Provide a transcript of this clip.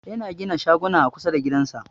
Yana gina shaguna a kusa da gidansa.